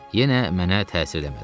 Yenə mənə təsir eləmədi.